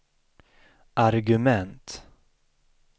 argument